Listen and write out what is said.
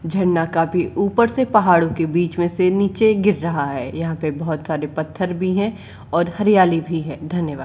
झरना काफी ऊपर से पहाड़ों के बीच में से नीचे गिर रहा है। यहां पे बहुत सारे पत्थर भी है और हरियाली भी है धन्यवाद।